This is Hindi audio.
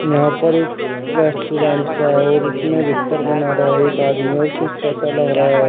यहां पर एक रेस्टोरेंट सा है और उसमें भीतर बना रहा है एक आदमी और शीशा सा लग रहा है।